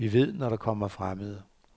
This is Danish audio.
Vi ved, når der kommer fremmede.